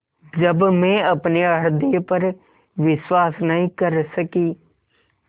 जब मैं अपने हृदय पर विश्वास नहीं कर सकी